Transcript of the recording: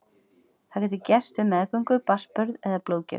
Það getur gerst við meðgöngu, barnsburð eða blóðgjöf.